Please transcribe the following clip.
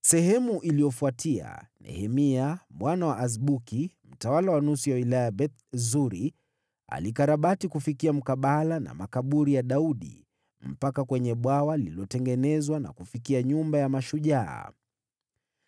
Baada yake, Nehemia mwana wa Azbuki, mtawala wa nusu ya wilaya ya Beth-Suri, alikarabati kufikia mkabala na makaburi ya Daudi, mpaka kwenye bwawa lililotengenezwa, na kufikia Nyumba ya Mashujaa.